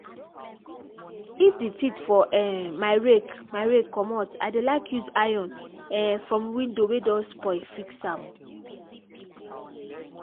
if the teeth for um my rake my rake commot i dey like use iron um from window wey don spoil fix am.